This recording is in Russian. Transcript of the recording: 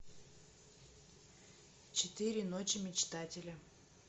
четыре ночи мечтателя